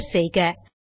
enter செய்க